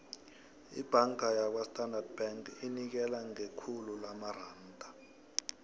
ibhanga yakwastandard bank inikela ngekhulu lamaranda